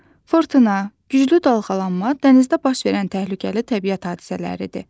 Fırtına, güclü dalğalanma dənizdə baş verən təhlükəli təbiət hadisələridir.